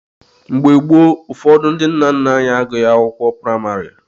Mgbe gboo, ụfọdụ ndị nna nna anyị agụghị akwụkwọ praịmarị.